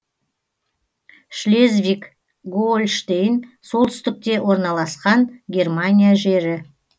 шлезвиг гоольштейн солтүстікте орналасқан германия жері